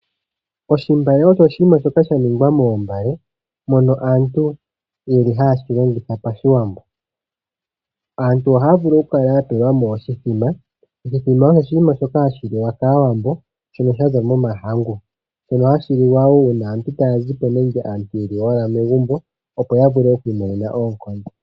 Oshimbale osho oshinima shoka sha ningwa moombale mono aantu ye li haye shi longitha pashiwambo. Aantu ohaya vulu okukala ya pelwa mo oshithima. Oshithima osho oshinima shoka hashi liwa kAawambo shono sha za momahangu. Shono hashi liwa wo uuna aantu taya zi po nenge aantu ye li owala megumbo, opo ya vule oku imonena oonkondo.